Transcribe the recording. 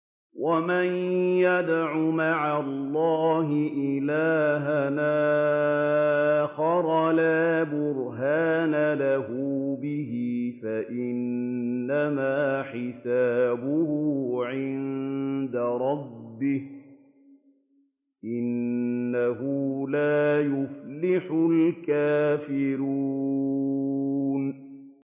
وَمَن يَدْعُ مَعَ اللَّهِ إِلَٰهًا آخَرَ لَا بُرْهَانَ لَهُ بِهِ فَإِنَّمَا حِسَابُهُ عِندَ رَبِّهِ ۚ إِنَّهُ لَا يُفْلِحُ الْكَافِرُونَ